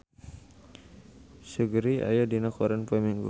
Seungri aya dina koran poe Minggon